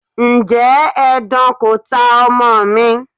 Ǹjẹ́ edan kò ta ọmọ mi?